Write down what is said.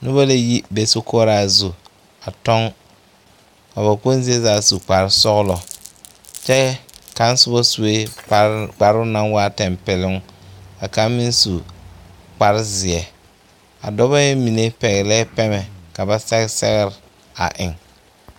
Noba la yi be sokoɔraa zu a kyɔŋ ka ba kpoŋ zie zaa su kparesɔglɔ kyɛ nyɛ kaŋ na soba sue kpare kparoŋ naŋ waa tampɛloŋ ka kaŋ meŋ su kparezeɛ a dɔba ŋa mine pɛglɛɛ pɛmɛ ka ba sɛge sɛgre a eŋ.